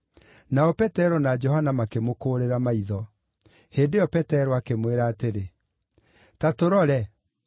Nao Petero na Johana makĩmũkũũrĩra maitho. Hĩndĩ ĩyo Petero akĩmwĩra atĩrĩ, “Ta tũrore!”